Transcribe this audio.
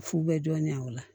Fu bɛ jɔn ɲɛn o la